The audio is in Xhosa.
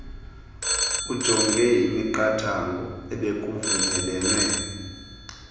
ujonge imiqathango ebekuvunyelwene